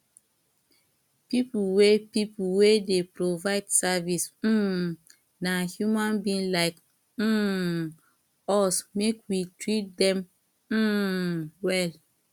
pipo wey pipo wey dey provide service um na human being like um us make we treat dem um well